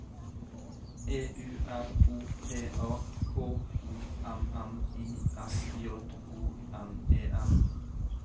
E U R O P A K O M M I S J O N E N